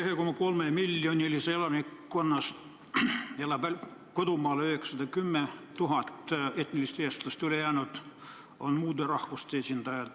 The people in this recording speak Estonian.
Eesti 1,3-miljonilisest elanikkonnast on etnilisi eestlasi 910 000, ülejäänud on muude rahvuste esindajad.